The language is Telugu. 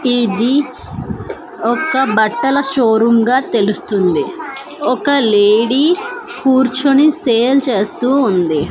ఇది ఒక బట్టల షో రూమ్ గా తెలుస్తుంది ఒక లేడీ కూర్చుని సేల్ చేస్తూ ఉంది.